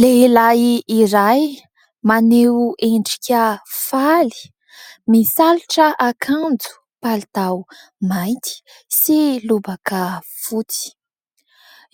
Lehilahy iray maneho endrika faly, misalotra akanjo palitao maity sy lobaka fotsy